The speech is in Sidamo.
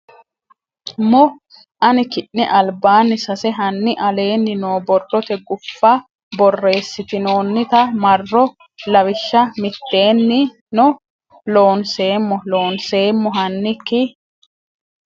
mmo hanni ki ne albaanni sase hanni aleenni noo borrote guffa borreessitinoonnita marro lawishsha mitteenni no Loonseemmo Loonseemmo hanni ki.